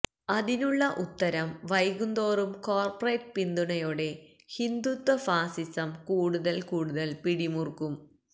അതിനുള്ള ഉത്തരം വൈകുന്തോറും കോർപറേറ്റ് പിന്തുണയോടെ ഹിന്ദുത്വ ഫാസിസം കൂടുതൽ കൂടുതൽ പിടിമുറുക്കും